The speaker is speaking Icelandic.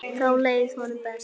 Þá leið honum best.